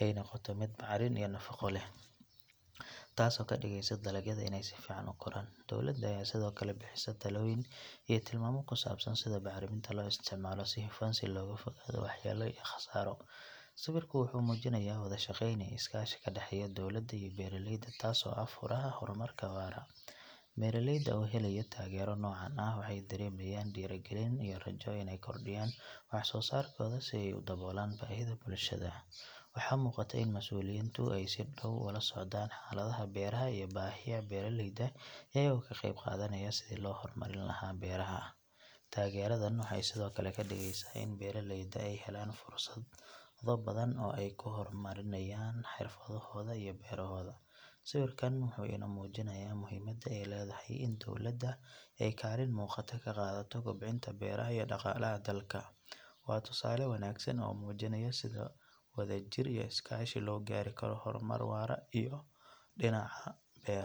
ay noqoto mid bacrin iyo nafaqo leh taasoo ka dhigaysa dalagyada inay si fiican u koraan. Dowladda ayaa sidoo kale bixisa talooyin iyo tilmaamo ku saabsan sida bacriminta loo isticmaalo si hufan si looga fogaado waxyeelo iyo khasaaro. Sawirku wuxuu muujinayaa wada shaqeyn iyo iskaashi ka dhexeeya dowladda iyo beeraleyda taasoo ah furaha horumarka waara. Beeraleyda oo helaya taageero noocan ah waxay dareemayaan dhiirigelin iyo rajo inay kordhiyaan wax soo saarkooda si ay u daboolaan baahida bulshada. Waxaa muuqata in mas’uuliyiintu ay si dhow ula socdaan xaaladaha beeraha iyo baahiyaha beeraleyda iyagoo ka qayb qaadanaya sidii loo horumarin lahaa beeraha. Taageeradan waxay sidoo kale ka dhigeysaa in beeraleyda ay helaan fursado badan oo ay ku hormariyaan xirfadooda iyo beerahooda. Sawirkan wuxuu inoo muujinayaa muhiimada ay leedahay in dowladda ay kaalin muuqata ka qaadato kobcinta beeraha iyo dhaqaalaha dalka. Waa tusaale wanaagsan oo muujinaya sida wadajir iyo iskaashi loo gaari karo horumar waara oo dhinaca beeraha ah.